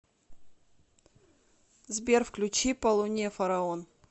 сбер включи по луне фараон